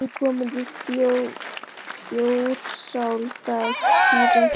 Ég hef aldrei komið í Þjórsárdal, Týri.